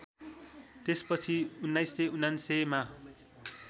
त्यसपछि १९९९ मा